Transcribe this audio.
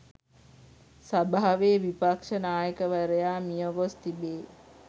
සභාවේ විපක්ෂ නායකවරයා මියගොස් තිබේ.